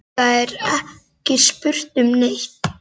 Það er ekki spurt um neitt.